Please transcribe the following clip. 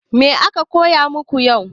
Me aka koya maku yau?